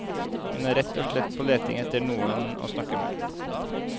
Hun er rett og slett på leting etter noen å snakke med.